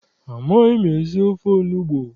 Amaghị m esi ofe onugbu.